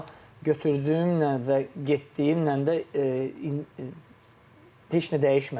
Amma götürdüyümlə və getdiyimlə də heç nə dəyişmədi də.